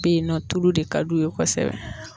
bɛ ye nɔ tulu de ka di u ye kosɛbɛ.